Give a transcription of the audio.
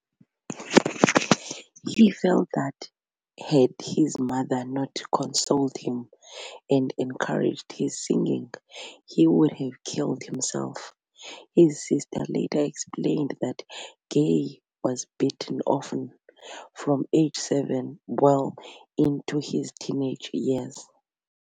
He felt that had his mother not consoled him, and encouraged his singing, he would have killed himself. His sister later explained that Gaye was beaten often, from age seven well into his teenage years.